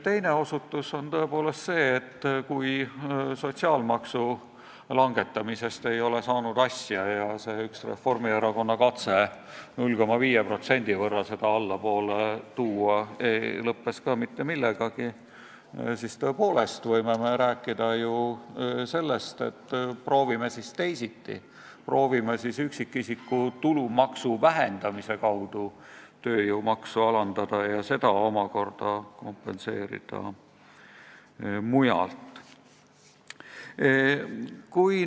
Teine osutus on tõepoolest see, et kui sotsiaalmaksu langetamisest ei ole asja saanud ja Reformierakonna katse seda 0,5% allapoole tuua lõppes ka mitte millegagi, siis võib tõepoolest rääkida sellest, et proovime siis teisiti, proovime siis tööjõumakse alandada üksikisiku tulumaksu vähendamise kaudu ja kompenseerida seda mujalt.